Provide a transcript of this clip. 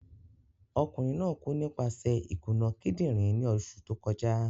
Okunrin naa ku nipaṣẹ ikuna kidinrin ni oṣu to kọja.